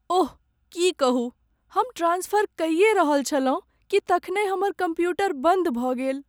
ओह, की कहू, हम ट्रान्सफर कइये रहल छलहुँ कि तखनहि हमर कम्प्यूटर बन्द भऽ गेल।